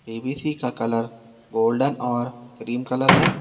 PVC का colour golden और cream colour है।